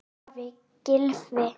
Elsku afi Gylfi.